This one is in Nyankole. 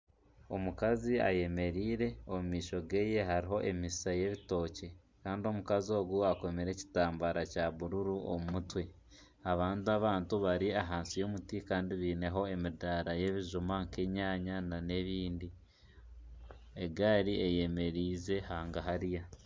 Omukazi ayemereire omu maisho geeye hariho emisiisa y'ebitookye kandi omukazi ogu akomire ekitambara kya bururu omu mutwe abandi abantu bari ahansi y'omuti kandi baineho emidaara y'ebijuma nka enyanya na n'ebindi, egaari eyemerize hagahari.